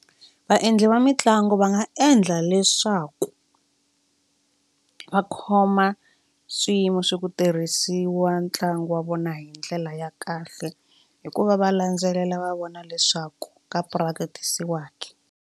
Vaendli va mitlangu va nga endla leswaku va khoma swiyimo swo ku tirhisiwa ntlangu wa vona hi ndlela ya kahle hikuva va landzelela va vona leswaku ka practice-wa ke.